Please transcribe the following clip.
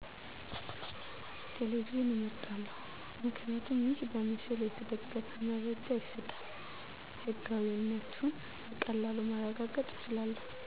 ቴሌቪዥንን አመርጣለሁ። ምክንያቱ ይሕ በምስል የተደገፈ መረጃ ይሰጣል። ሕጋዊእነቱን በቀላሉ ማረጋገጥ ይቻላል።